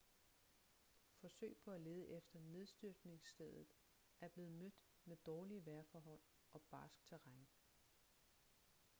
forsøg på at lede efter nedstyrtningsstedet er blevet mødt med dårlige vejrforhold og barskt terræn